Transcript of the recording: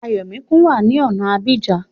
Ayọ̀míkún wá ní ọ̀na Abidjan